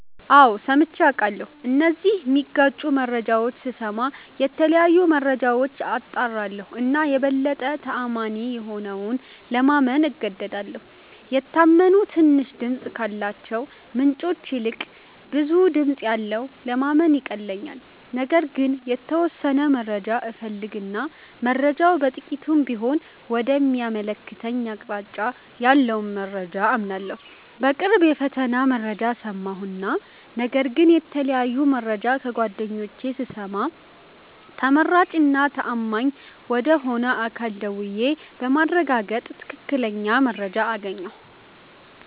አዎ ሠምቼ አቃለሁ እነዚህን ሚጋጩ መረጃዎች ስስማ የተለያዩ መረጃዎች አጣራለሁ እና የበለጠ ተአማኒ የሆነውን ለማመን እገደዳለሁ። የታመኑ ትንሽ ድምፅ ካላቸው ምንጮች ይልቅ ብዙ ድምጽ ያለውን ለማመን ይቀለኛል። ነገር ግን የተወሠነ መረጃ እፈልግ እና መረጃው በጥቂቱም ቢሆን ወደ ሚያመለክተኝ አቅጣጫ ያለውን መረጃ አምናለሁ። በቅርቡ የፈተና መረጃ ሠማሁ እና ነገር ግን የተለያየ መረጃ ከጓደኞቼ ስሰማ ተመራጭ እና ተአማኝ ወደ ሆነ አካል ደውዬ በማረጋገጥ ትክክለኛ መረጃ አገኘሁ።